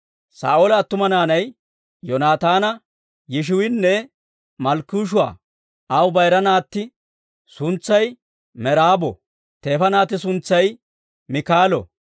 Saa'oola attuma naanay Yoonaataana, Yishiwiinne Malkkishuu'a; aw bayira naatti suntsay Meraabo; teefa naatti suntsay Miikaalo.